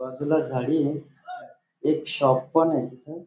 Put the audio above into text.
बाजूला झाडी य एक शॉप पण आहे तिथे.